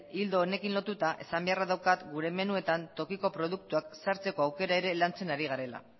ildo honekin lotuta esan beharra daukat gure menuetan tokiko produktuak sartzeko aukera ere lantzen ari garela